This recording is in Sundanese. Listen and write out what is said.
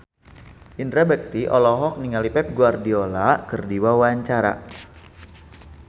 Indra Bekti olohok ningali Pep Guardiola keur diwawancara